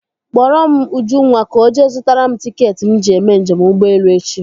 Kpọrọ m Ujunwa ka ọ jee zụtara m tiketi m ji eme njem ụgbọelu echi.